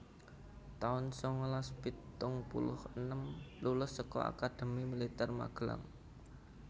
taun sangalas pitung puluh enem Lulus saka Akademi Militer Magelang